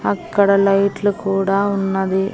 అక్కడ లైట్లు కూడా ఉన్నవి.